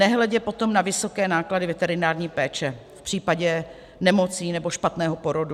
Nehledě potom na vysoké náklady veterinární péče v případě nemocí nebo špatného porodu.